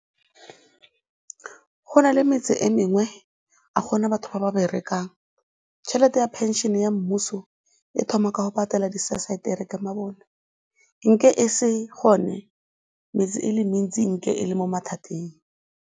Go na le metse e mengwe, ga go na batho ba ba berekang. Tšhelete ya phenšene ya mmuso e thoma ka go patela , nke e se gone, metse e le mentsi nke e le mo mathateng.